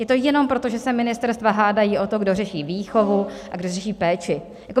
Je to jenom proto, že se ministerstva hádají o to, kdo řeší výchovu a kdo řeší péči?